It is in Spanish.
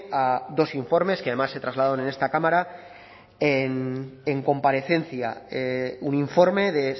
a dos informes que además se trasladaron en esta cámara en comparecencia un informe de